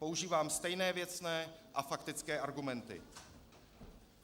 Používám stejné věcné a faktické argumenty.